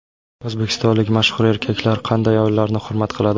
O‘zbekistonlik mashhur erkaklar qanday ayollarni hurmat qiladi?.